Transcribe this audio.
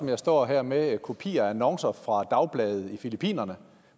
jeg står her med kopier af annoncer fra dagblade i filippinerne